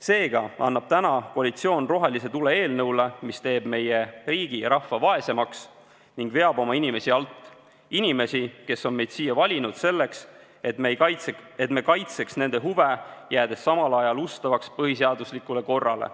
Seega annab täna koalitsioon rohelise tule eelnõule, mis teeb meie riigi ja rahva vaesemaks ning veab alt oma inimesi, inimesi, kes on meid siia valinud selleks, et me kaitseks nende huve, jäädes samal ajal ustavaks põhiseaduslikule korrale.